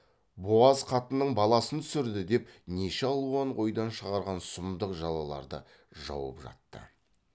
буаз қатынның баласын түсірді деп неше алуан ойдан шығарған сұмдық жалаларды жауып жатты